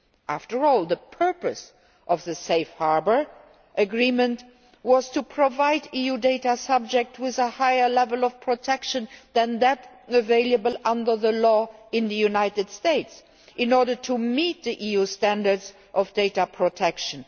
After all, the purpose of the Safe Harbour agreement was to provide EU data subjects with a higher level of protection than that available under the law in the United States, in order to meet the EU standards of data protection.